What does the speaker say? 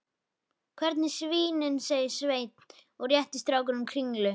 Hérna svínin, sagði Sveinn og rétti strákunum kringlu.